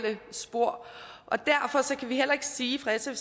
må sige altså er